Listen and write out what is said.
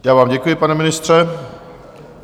Já vám děkuji, pane ministře.